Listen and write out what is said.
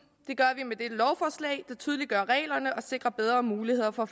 det tydeliggør reglerne og sikrer bedre muligheder for at